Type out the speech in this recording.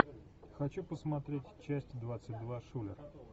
хочу посмотреть часть двадцать два шулер